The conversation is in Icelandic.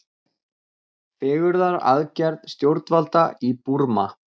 Fegrunaraðgerð stjórnvalda í Búrma